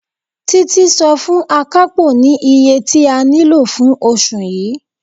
Títí sọ fún Akapo ní iye tí a nílò fún oṣù yii.